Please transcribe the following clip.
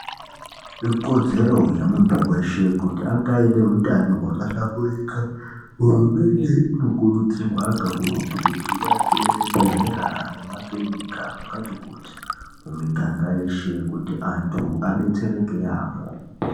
Ikodzer yemuntu weshe yekuti ange aine utano hwakahlamburika. Hurumende inokurudzirwa kakurutu kuti iake zvibhedhlera nemakurinika zvakati kuti mumiganga yeshe kuti vantu vadetsereke yaamho.